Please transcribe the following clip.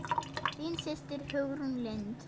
Þín systir Hugrún Lind.